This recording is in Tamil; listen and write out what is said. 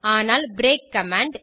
ஆனால் பிரேக் கமாண்ட்